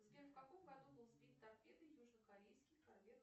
сбер в каком году был сбит торпедой южнокорейский корвет